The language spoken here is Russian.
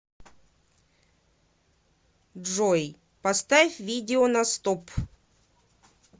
джой поставь видео на стоп